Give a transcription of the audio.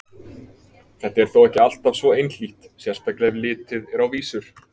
Þetta er þó ekki alltaf svo einhlítt, sérstaklega ef litið er á vísur.